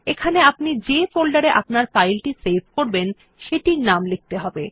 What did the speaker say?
এখানে আপনি যে ফোল্ডারে আপনার ফাইল সেভ করবেন সেটির নাম লিখতে হবে